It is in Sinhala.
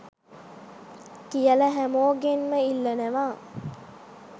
කියලා හැමෝගෙන්ම ඉල්ලනවා.